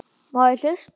Má ég hlusta?